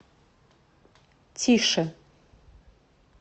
тише